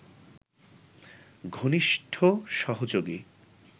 ঘনিষ্ঠ সহযোগী